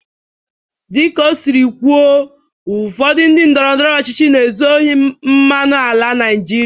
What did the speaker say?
Dịka o siri kwuo, ụfọdụ ndị ndọrọndọrọ ọchịchị na-ezu ohi mmanụ ala Naijiria.